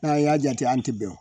N'a y'a jate an tɛ bɛn wo!